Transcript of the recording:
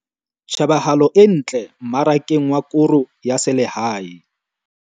Tjhebahalo e ntle mmarakeng wa koro ya selehae